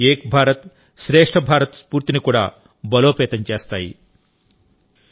అవి ఏక్ భారత్శ్రేష్ఠ భారత్ స్ఫూర్తిని కూడా బలోపేతం చేస్తాయి